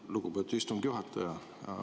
Lugupeetud istungi juhataja!